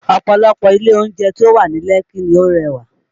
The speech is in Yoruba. Ọ̀pọ̀lọpọ̀ ilé oúnjẹ tí ó wà ní Lekki ni ó rẹwà